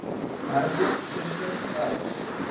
herlees venter l